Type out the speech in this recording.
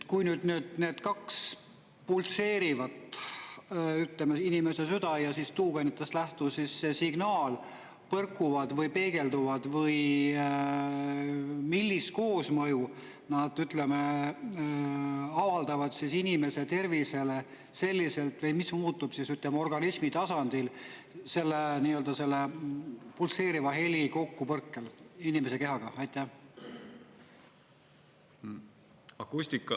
Kui nüüd need kaks pulseerivat, ütleme, inimese süda ja tuugenitest lähtuv signaal põrkuvad või peegelduvad, millist koosmõju nad avaldavad inimese tervisele selliselt või mis muutub, ütleme, organismi tasandil selle pulseeriva heli kokkupõrkel inimese kehaga?